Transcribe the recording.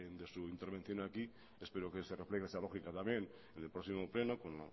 de su intervención aquí espero que se refleje esa lógica también en el próximo pleno con